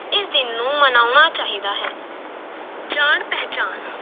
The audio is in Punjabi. ਇਸ ਦਿਨ ਨੂੰ ਮਨਾਉਣਾ ਚਾਹੀਦਾ ਹੈ, ਜਾਣ ਪਹਿਚਾਣ